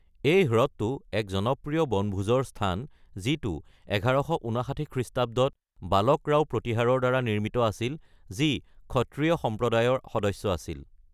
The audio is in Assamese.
এই হ্ৰদটো এক জনপ্ৰিয় বনভোজৰ স্থান, যিটো ১১৫৯ খ্ৰীষ্টাব্দত বালক ৰাও প্ৰতিহাৰৰ দ্বাৰা নিৰ্মিত আছিল, যি ক্ষত্ৰিয় সম্প্ৰদায়ৰ সদস্য আছিল।